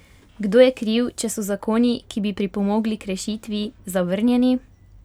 Kdo je kriv, če so zakoni, ki bi pripomogli k rešitvi, zavrnjeni?